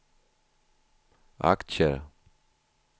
aktier